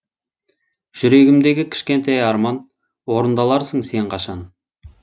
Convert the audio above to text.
жүрегімдегі кішкентай арман орындаларсың сен қашан